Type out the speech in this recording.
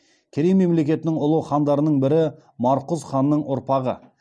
керей мемлекетінің ұлы хандарының бірі марқұз ханның ұрпағы